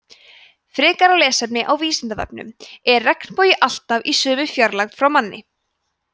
frekara lesefni á vísindavefnum er regnbogi alltaf í sömu fjarlægð frá manni